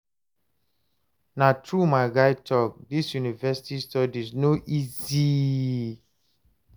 na true my guy talk, dis university studies no easy